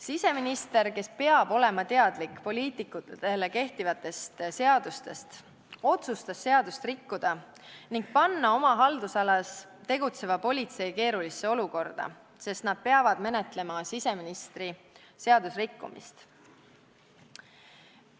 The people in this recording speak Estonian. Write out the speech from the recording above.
Siseminister, kes peab olema teadlik poliitikute kohta kehtivatest seadustest, otsustas seadust rikkuda ja panna oma haldusalas tegutseva politsei keerulisse olukorda, sest nad peavad menetlema siseministri seadusrikkumist.